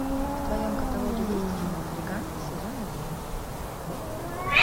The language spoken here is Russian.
в твоем каталоге есть кино триган сезон один